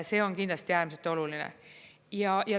See on kindlasti äärmiselt oluline.